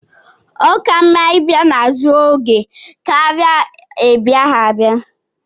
ọ ka mma ibia n'oge ka ọ ghara ibia